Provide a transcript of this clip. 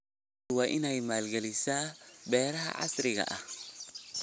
Dawladdu waa inay maalgelisaa beeraha casriga ah.